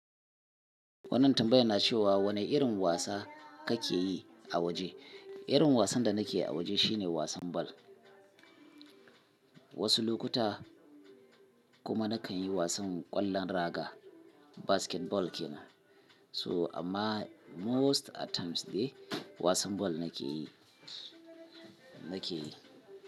Wannan tambaya na cewa wane irin wasa kake yi a waje? Irin wasan da nake yi a waje shine wasan bal. Wasu lokuta kuma nakan yi wasan ƙwallon raga, basketball kina. So amma most at times dai wasan bal nake yi, nake yi.